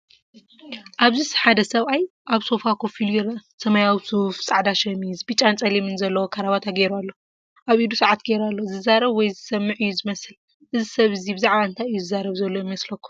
ኣብዚ ሓደ ሰብኣይ ኣብ ሶፋ ኮፍ ኢሉ ይርአ። ሰማያዊ ሱፍ፡ ጻዕዳ ሸሚዝ፡ ብጫን ጸሊምን ዘለዎ ካራባታ ገይሩ ኣሎ። ኣብ ኢዱ ሰዓት ገይሩ ኣሎ። ዝዛረብ ወይ ዝስምዕ እዩ ዝመስል። እዚ ሰብ እዚ ብዛዕባ እንታይ እዩ ዝዛረብ ዘሎ ይመስለኩም?